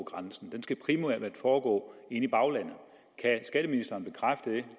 grænsen den skal primært foregå inde i baglandet kan skatteministeren bekræfte det